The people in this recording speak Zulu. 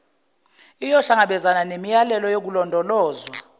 iyohlangabezana nemiyalelo yokulondolozwa